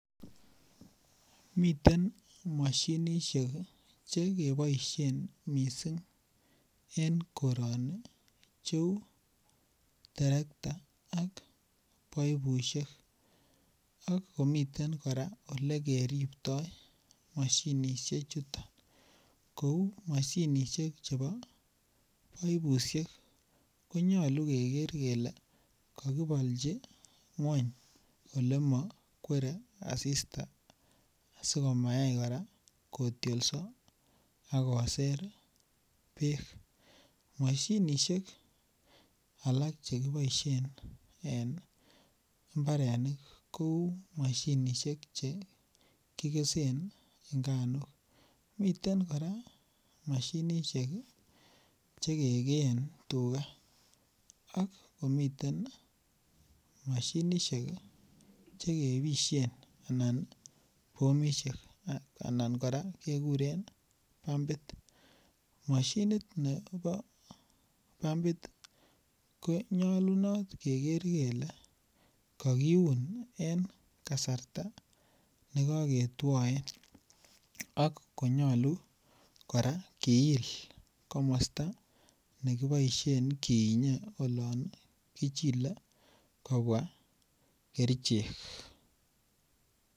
Miten mashinisiek Che keboisien mising en koroni cheu terekta ak paipusiek ak komiten kora Ole keripto mashinisiechuto ko u mashinisiek chebo paipusiek ko nyolu keker kele kakibolchi ngwony Ole mo kwere asista asi komayai kora kotyolso koser bek mashinisiek alak Che kiboisien en mbarenik kou mashinisiek Che kigesen nganuk miten kora mashinisiek Che kegeen tuga ak komiten mashinisiek Che kebisyen bomisiek anan kora kekuren pumpit mashinit nebo pumbit ko nyolunot keker kele kakiun en kasarta ne koketwoen ak kora konyolu kora kill komosta ne kiinye olon kichile kobwa kerichek